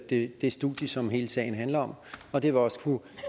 det studie som hele sagen handler om og det vil også kunne